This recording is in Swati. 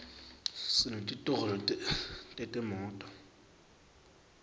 sinetitolo tetimoto